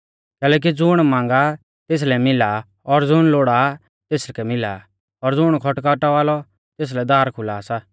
कैलैकि ज़ुण मांगा तेसलै मिला और ज़ुण लोड़ा लौ तेसकै मिला और ज़ुण खटखटावा लौ तेसलै दार खुला सा